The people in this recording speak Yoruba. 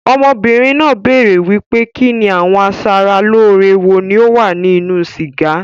Ọmọbìnrin náà béèrè wípé kinni àwọn a sára lóore wo ni ó wà ní inú sìgá.